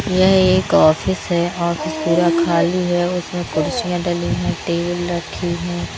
यह एक ऑफिस है ऑफिस पूरा खाली है उसमें कुर्सियां डली हैं टेबल रखी हैं।